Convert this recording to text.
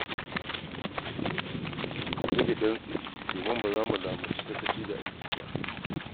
Ku zage damtse domin ba za mu lamunci sakaci da aiki ba.